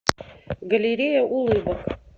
галерея улыбок